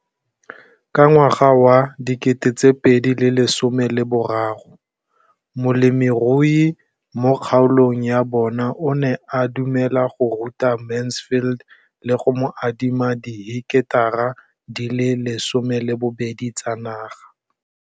Ka ngwaga wa 2013, molemirui mo kgaolong ya bona o ne a dumela go ruta Mansfield le go mo adima di heketara di le 12 tsa naga.